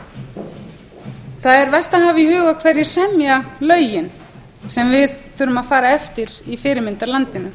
það er vert að hafa í huga hverjir semja lögin sem við þurfum að fara eftir í fyrirmyndarlandinu